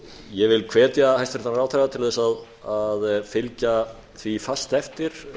ég vil hvetja hæstvirtan ráðherra til þess að fylgja því fast eftir